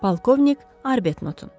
Polkovnik Arbetnotun.